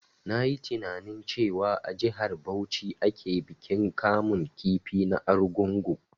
Na yi tininain cewa a jihar Bauchi ake bikin kamun kifi na argungu